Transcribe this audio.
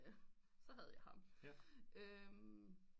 Så havde jeg ham